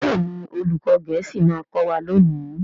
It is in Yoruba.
Béèni olùkó gèésì ma kò wá lóni.